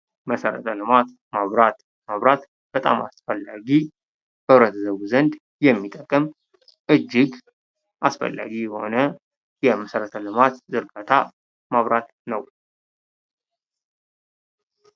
መሰረተ ልማት መብራት መብራት በጣም አስፈላጊ በህብረተሰቡ ዘንድ የሚጠቅም እጅግ አስፈላጊ የሆነ የመሰረተ ልማት ዝርጋታ መብራት ነው።